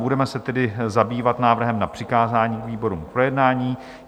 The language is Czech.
Budeme se tedy zabývat návrhem na přikázání výborům k projednání.